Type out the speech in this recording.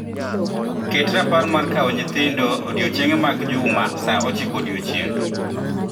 Ket rapar mar kaw nyithindo odiechienge mag juma saa ochiko odiechieng'.